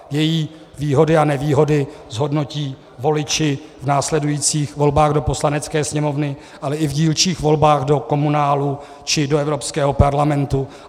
Její výhody a nevýhody zhodnotí voliči v následujících volbách do Poslanecké sněmovny, ale i v dílčích volbách do komunálů či do Evropského parlamentu.